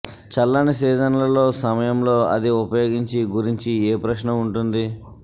చల్లని సీజన్లలో సమయంలో అది ఉపయోగించి గురించి ఏ ప్రశ్న ఉంటుంది